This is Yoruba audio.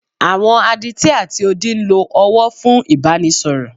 Àwọn Adití ati odi ń lo ọwọ́ fún Ìbánisọ̀rọ̀.